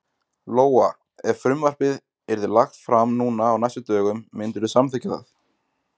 Lóa: Ef frumvarpið yrði lagt fram núna á næstu dögum myndirðu samþykkja það?